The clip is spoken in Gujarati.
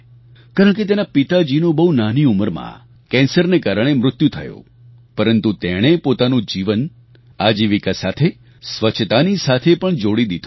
કારણ કે તેના પિતાજીનું બહુ નાની ઉંમરમાં કેન્સરને કારણે મૃત્યુ થયું પરંતુ તેણે પોતાનું જીવન આજીવિકા સાથે સ્વચ્છતાની સાથે પણ જોડી દીધું